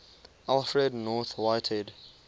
alfred north whitehead